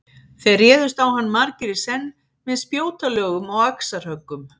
Þeir réðust á hann margir í senn með spjótalögum og axarhöggum.